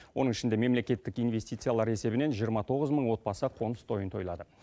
оның ішінде мемлекеттік инвестициялар есебінен жиырма тоғыз мың отбасы қоныс тойын тойлады